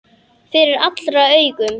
Fyrir allra augum!